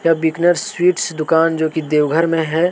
यह बीकनर स्वीट्स दुकान जो की देवघर में है।